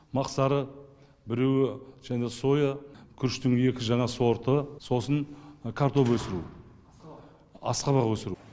мақсары біреуі және соя күріштің екі жаңа сорты сосын картоп өсіру асқабақ өсіру